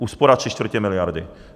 Úspora tři čtvrtě miliardy.